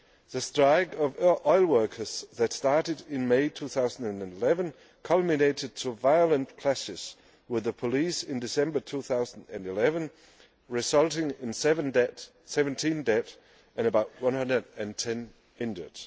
The strike of oil workers that started in May 2011 culminated in violent clashes with the police in December 2011, resulting in 17 dead and about 110 injured.